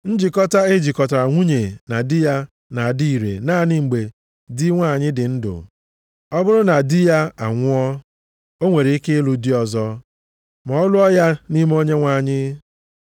Njikọta e jikọtara nwunye na di ya na-adị ire naanị mgbe di nwanyị dị ndụ. Ọ bụrụ na di ya anwụọ o nwere ike ịlụ di ọzọ, ma ọ lụọ ya nʼime Onyenwe anyị.